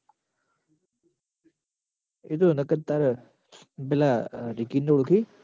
એતો નકર તાર પેલા નિખિલ ન ઓળખી